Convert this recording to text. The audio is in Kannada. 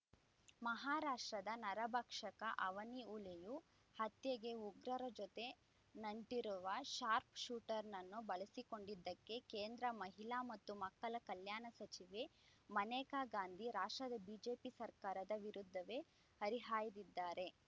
ಮಹಾರಾಷ್ಟ್ರದ ನರಭಕ್ಷಕ ಅವನಿ ಹುಲಿಯು ಹತ್ಯೆಗೆ ಉಗ್ರರ ಜೊತೆ ನಂಟಿರುವ ಶಾರ್ಪ್ ಶೂಟರ್ ನನ್ನು ಬಳಸಿಕೊಂಡಿದ್ದಕ್ಕೆ ಕೇಂದ್ರ ಮಹಿಳಾ ಮತ್ತು ಮಕ್ಕಳ ಕಲ್ಯಾಣ ಸಚಿವೆ ಮನೇಕಾ ಗಾಂಧಿ ಮಹಾರಾಷ್ಟ್ರದ ಬಿಜೆಪಿ ಸರ್ಕಾರದ ವಿರುದ್ಧವೇ ಹರಿಹಾಯ್ದಿದ್ದಾರೆ